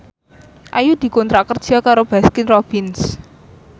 Ayu dikontrak kerja karo Baskin Robbins